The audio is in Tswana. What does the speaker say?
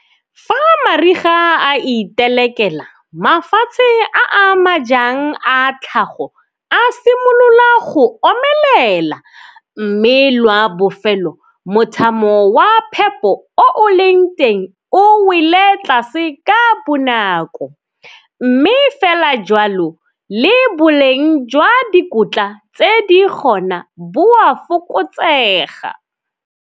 Fa mariga a itelekela, mafatshe a a majang a tlhago a simolola go omelela, mme lwa bofelo mothamo wa phepo o o leng teng o wele tlase ka bonako, mme fela jalo le boleng jwa dikotla tse di gona, bo a fokotsega.